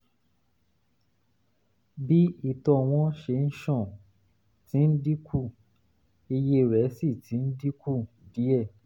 bí ìtọ̀ wọn ṣe ń ṣàn ti ń dínkù iye rẹ̀ sì ti dínkù díẹ̀